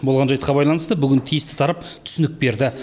болған жайтқа байланысты бүгін тиісті тарап түсінік берді